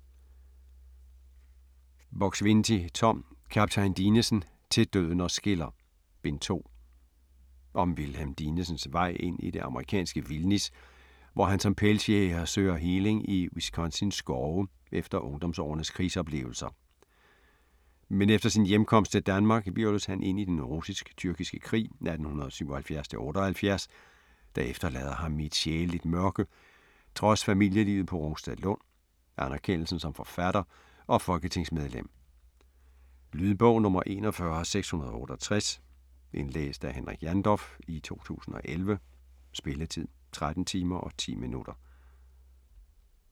Buk-Swienty, Tom: Kaptajn Dinesen: "Til døden os skiller": Bind 2 Om Wilhelm Dinesens vej ind i det amerikanske vildnis, hvor han som pelsjæger søger heling i Wisconsins skove efter ungdomsårenes krigsoplevelser. Men efter sin hjemkomst til Danmark hvirvles han ind i den russisk-tyrkiske krig 1877-78, der efterlader ham i et sjæleligt mørke, trods familielivet på Rungstedlund, anerkendelsen som forfatter og folketingsmedlem. Lydbog 41668 Indlæst af Henrik Jandorf, 2014. Spilletid: 13 timer, 10 minutter.